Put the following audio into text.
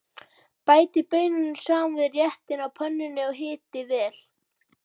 Bætið baununum saman við réttinn á pönnunni og hitið vel.